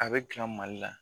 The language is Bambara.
A bɛ dilan Mali la